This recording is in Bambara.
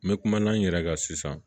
N bɛ kumala n yɛrɛ kan sisan